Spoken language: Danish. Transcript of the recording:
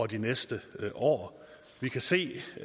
de næste år vi kan se